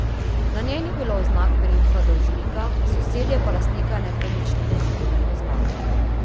Na njej ni bilo oznak priimka dolžnika, sosedje pa lastnika nepremičnine niti ne poznajo.